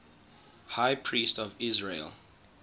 high priests of israel